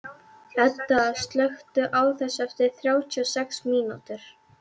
Edda, slökktu á þessu eftir þrjátíu og sex mínútur.